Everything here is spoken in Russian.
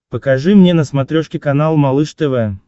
покажи мне на смотрешке канал малыш тв